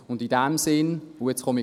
Nun komme ich zur Form: